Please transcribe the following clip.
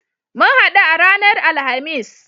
Mun haɗu a ranar Alhamis.